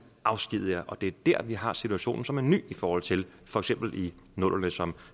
afskediger og det er der vi har situationen som er ny i forhold til for eksempel nullerne som